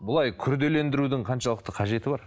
былай күрделендірудің қаншалықты қажеті бар